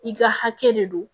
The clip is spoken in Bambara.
I ka hakɛ de don